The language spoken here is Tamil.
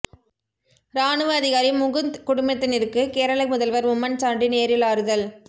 ராணுவ அதிகாரி முகுந்த் குடும்பத்தினருக்கு கேரள முதல்வர் உம்மன் சாண்டி நேரில் ஆறுதல்